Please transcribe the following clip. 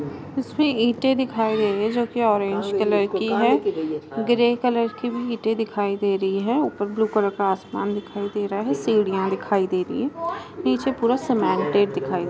इसमे इंटे दिखाई दे रही है जो की ऑरेंज कलर की है ग्रे कलर की भी इटे दिखाई दे रही हैं ऊपर ब्लू कलर का आसमान दिखाई दे रहा है सीढ़ियां दिखाई दे रही हैं नीचे पूरा सीमेंटेड दिखाई दे रहा है।